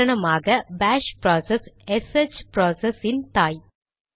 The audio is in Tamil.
உதாரணமாக பாஷ் ப்ராசஸ் எஸ்ஹெச் ப்ராசஸ் இன் தாய்